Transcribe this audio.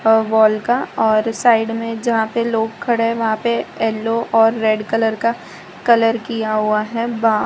और वॉल का और साइड में जहां पे लोग खड़े हैं वहां पे येल्लो और रेड कलर का कलर किया हुआ है बा --